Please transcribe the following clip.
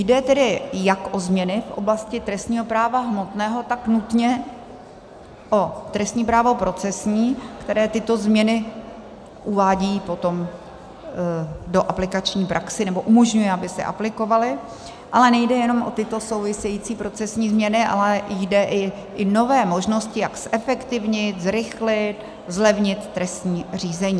Jde tedy jak o změny v oblasti trestního práva hmotného, tak nutně o trestní právo procesní, které tyto změny uvádí potom do aplikační praxe nebo umožňuje, aby se aplikovaly, ale nejde jenom o tyto související procesní změny, ale jde i o nové možnosti, jak zefektivnit, zrychlit, zlevnit trestní řízení.